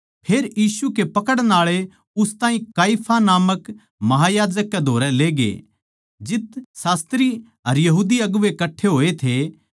फेर यीशु के पकड़न आळे उस ताहीं काइफा नामक महायाजक कै धोरै लेगे जित शास्त्री अर यहूदी अगुवें कट्ठे होए थे